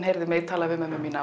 heyrt mig tala við móður mína